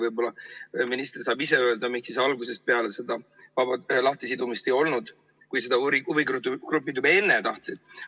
Võib-olla minister saab ise öelda, miks siis algusest peale seda lahtisidumist ei olnud, kui seda huvigrupid juba enne tahtsid.